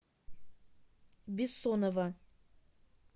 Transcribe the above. бессонова